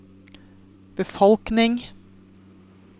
befolkning